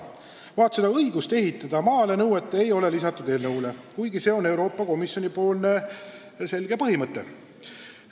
Vaat seda õigust ehitada maale eelnõus ei nõuta, kuigi see on Euroopa Komisjoni selge põhimõte.